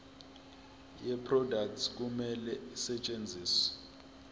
yeproduct kumele isetshenziswe